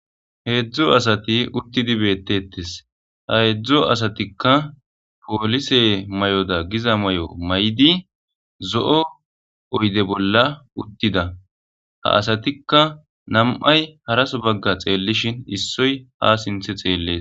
Heedzdzo asati uttidi beettetes ha heedzdzo asatikka poolise may7oda giza may7o may7idi zo7o oyde bolla uttida ha asatikka nam7ay haraso bagga xeellishin issoy ha sinthe xeellees